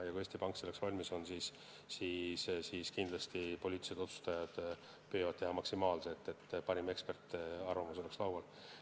Ja kui Eesti Pank selleks valmis on, siis kindlasti poliitilised otsustajad püüavad teha maksimaalse, et parim eksperdiarvamus oleks laual.